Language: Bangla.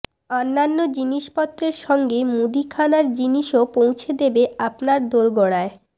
অন্যান্য জিনিসপত্রের সঙ্গে মুদিখানার জিনিসও পৌঁছে দেবে আপনার দোড়গোড়ায়